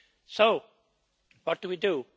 So, what do we do?